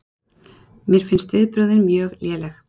Mér finnst viðbrögðin mjög léleg